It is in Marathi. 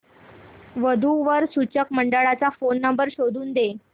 वधू वर सूचक मंडळाचा फोन नंबर शोधून दे